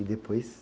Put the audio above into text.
E depois?